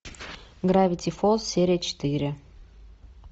гравити фолз серия четыре